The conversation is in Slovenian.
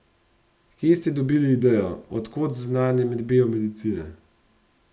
Kje ste dobili idejo, od kod znanje biomedicine?